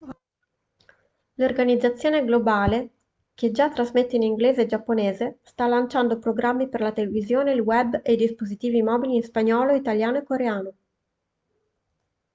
l'organizzazione globale che già trasmette in inglese e giapponese sta lanciando programmi per la televisione il web e i dispositivi mobili in spagnolo italiano e coreano